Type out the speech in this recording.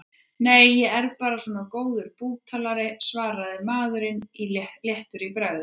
Nei, ég er bara svona góður búktalari, svaraði maður léttur í bragði.